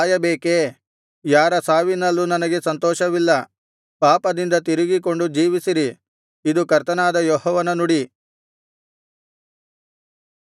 ಯಾರ ಸಾವಿನಲ್ಲೂ ನನಗೆ ಸಂತೋಷವಿಲ್ಲ ಪಾಪದಿಂದ ತಿರುಗಿಕೊಂಡು ಜೀವಿಸಿರಿ ಇದು ಕರ್ತನಾದ ಯೆಹೋವನ ನುಡಿ